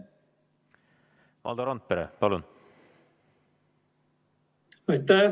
Valdo Randpere, palun!